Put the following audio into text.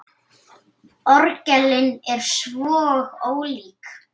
Orgelin eru svo ólík.